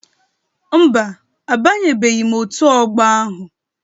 Mba, abanyebeghị m Òtù Ọgbọ ahụ